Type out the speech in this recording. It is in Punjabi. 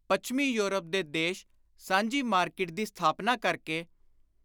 ਪੱਛਮੀ ਯੂਰਪ ਦੇ ਦੇਸ਼ ਸਾਂਝੀ ਮਾਰਕੀਟ ਦੀ ਸਥਾਪਨਾ ਕਰ ਕੇ